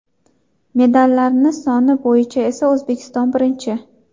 Medallarni soni bo‘yicha esa O‘zbekiston birinchi!